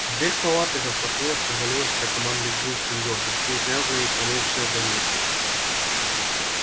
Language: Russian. дверь палаты распахнулась и ввалилась вся команда гриффиндора грязная и промокшая до нитки